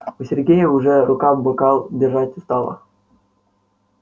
у сергея уже рука бокал держать устала